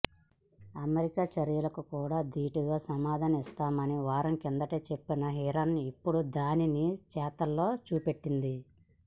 America చర్యలకు కూడా దీటుగా సమాధానమిస్తామని వారం కిందటే చెప్పిన ఇరాన్ ఇప్పుడు దాన్ని చేతల్లో చూపెట్టింది